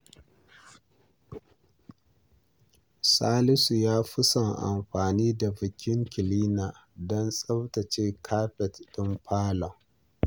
Salisu ya fi son amfani da vacuum cleaner don tsaftace kafet ɗin falon.